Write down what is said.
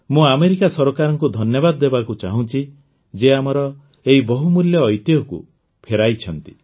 ମୁଁ ଆମେରିକା ସରକାରଙ୍କୁ ଧନ୍ୟବାଦ ଦେବାକୁ ଚାହୁଁଛି ଯିଏ ଆମର ଏହି ବହୁମୂଲ୍ୟ ଐତିହ୍ୟକୁ ଫେରାଇଛନ୍ତି